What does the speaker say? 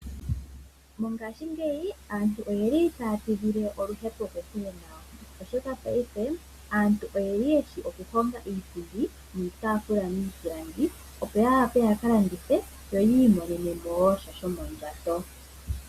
Mongaashingeyi aantu oyeli taya tidhile oluhepo kokule nayo, oshoka paife aantu oyeli yeshi oku honga iipundi niitaafula miipilangi opo ya wape yaka landithe, yo yi imonenemo woo sha shomo ndjato.